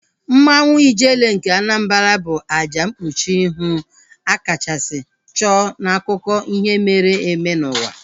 Mmanwu Ijele nke Anambra bụ àjà mkpuchi ihu a kachasị chụọ n'akụkọ ihe mere eme n'ụwa